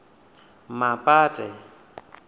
mapate